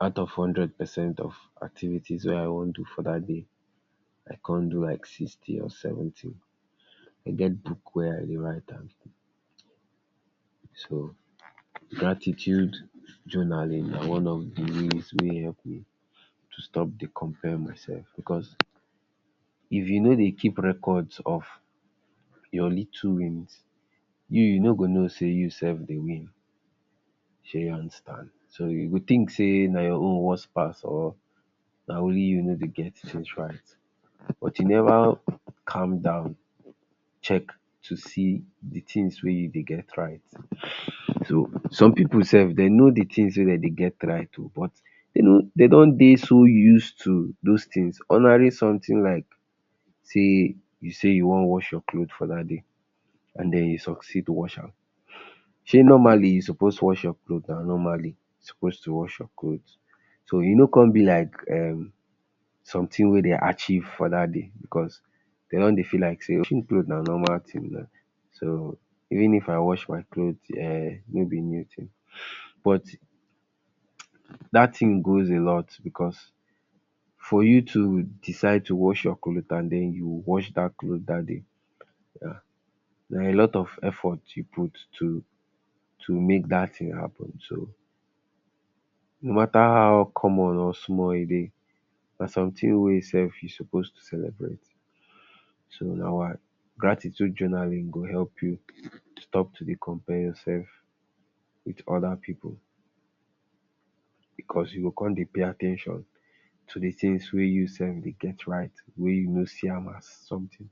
out of hundred percent of activities wey I wan do for dat day I come do like sixty or seventy e get book wey I dey write am. So gratitude journaling na one of dis wey help me to stop to dey compare myself because, if you no dey keep records of your little wins you you no go know say you self dey win sey you understand. You go tink say na ya own worse pass or na only you no dey get tins right, but you neva calm down check to see di tins wey you dey get right um some pipu self dem know di tins dem dey get right o but de don dey too use to dose tins ordinary somtin like say you say you wan wash your cloth for dat day and den you succeed wash am sey normally you suppose wash your cloth normally you suppose to wash your cloth so e no come be like sometin wey dem achieve for dat day because dem don dey feel like say cloth na normal tin na so even if I wash my cloth um no be new tin but dat tin goes a lot because for you to decide to wash your cloth and den you wash dat cloth dat day dia are a lot of effort you put to to make dat tin so no mata how common or small e dey na somtin wey you self you suppose to celebrate, so na why. Gratitude journaling go help you stop to dey compare ya self wit oda pipu because you go come dey pay at ten tion to di tins wey you self dey det right wey you no see am as sometin.